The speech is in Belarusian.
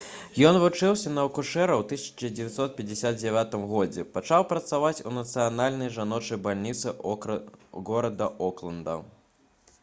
ён вучыўся на акушэра і ў 1959 годзе пачаў працаваць у нацыянальнай жаночай бальніцы горада окленда